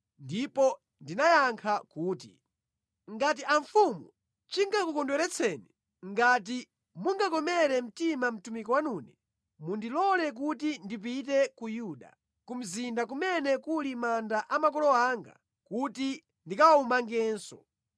Ndipo ndinayankha kuti, “Ngati amfumu chingakukondweretseni, ngati mungakomere mtima mtumiki wanune, mundilole kuti ndipite ku Yuda, ku mzinda kumene kuli manda a makolo anga kuti ndikawumangenso.”